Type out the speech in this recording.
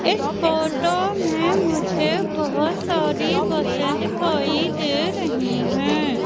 इस फोटो में मुझे बहुत सारी बसें दिखाई दे रही है।